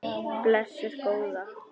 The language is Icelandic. Blessuð góða.